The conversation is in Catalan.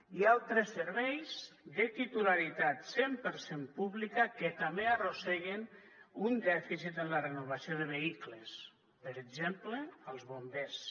hi ha altres serveis de titularitat cent per cent pública que també arrosseguen un dèficit en la renovació de vehicles per exemple els bombers